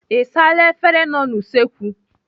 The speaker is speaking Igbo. Ị saala efere nọ n'usekwu?